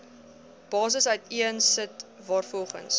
basis uiteensit waarvolgens